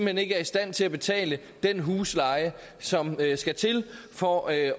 hen ikke er i stand til at betale den husleje som skal til for at